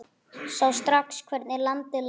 Sá strax hvernig landið lá.